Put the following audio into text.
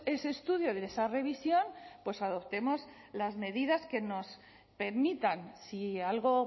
ese estudio de esa revisión pues adoptemos las medidas que nos permitan si algo